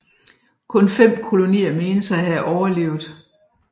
Kun fem kolonier menes at have overlevet